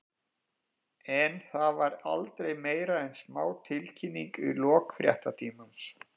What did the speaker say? En það var aldrei meira en smá tilkynning í lok fréttatímans.